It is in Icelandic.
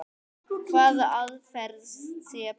Hvaða aðferð sé best.